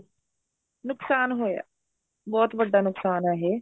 ਨੁਕਸਾਨ ਹੋਇਆ ਬਹੁਤ ਵੱਡਾ ਨੁਕਸਾਨ ਏ ਇਹ